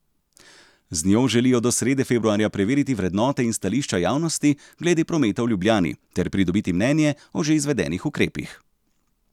Z njo želijo do srede februarja preveriti vrednote in stališča javnosti glede prometa v Ljubljani ter pridobiti mnenje o že izvedenih ukrepih.